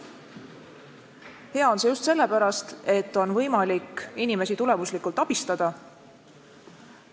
Hea on see just sellepärast, et on võimalik inimesi tulemuslikult abistada.